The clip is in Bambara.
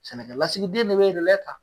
Sɛnɛkɛlasigiden ne bɛ ta